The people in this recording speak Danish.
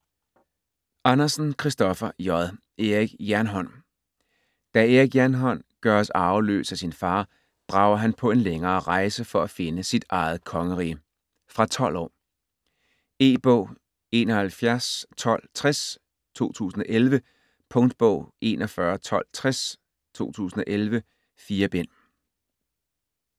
Andersen, Kristoffer J.: Erik Jernhånd Da Erik Jernhånd gøres arveløs af sin far, drager han på en længere rejse for at finde sit eget kongerige. Fra 12 år. E-bog 711260 2011. Punktbog 411260 2011. 4 bind.